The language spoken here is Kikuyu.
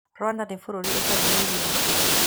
Rwanda nĩ bũrũri ũtarĩ na iria.